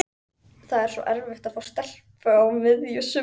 Það er svo erfitt að fá stelpu á miðju sumri.